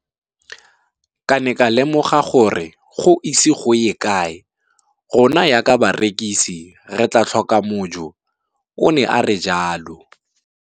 Ke ne ka lemoga gore go ise go ye kae rona jaaka barekise re tla tlhoka mojo, o ne a re jalo.